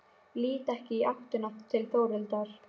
Lít ekki í áttina til Þórhildar.